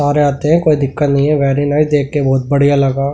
सारे आते हैं कोई दिक्कत नहीं है वेरी नाइस देख के बहुत बढ़िया लगा।